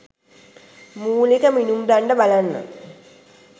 මූලික මිනුම් දණ්ඩ බලන්න.